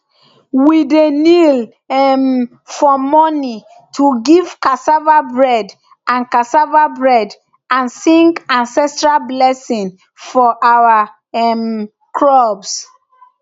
we dey kneel um for morning to give cassava bread and cassava bread and sing ancestral blessing for our um crops